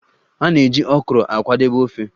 A na-eji Okro akwadebe ofe